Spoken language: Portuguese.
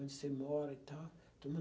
onde você mora e tal.